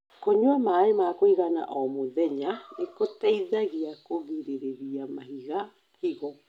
kũnywa maĩ ma kũigana O mũthenya nĩgũteithagia kũrigĩrĩria mahiga higo